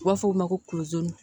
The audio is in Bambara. U b'a fɔ o ma ko